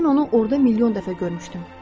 Mən onu orda milyon dəfə görmüşdüm.